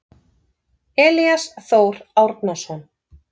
Elías Þór Árnason.